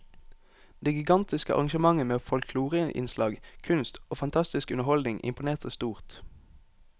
Det gigantiske arrangementet med folkloreinnslag, kunst og fantastisk underholdning imponerte stort.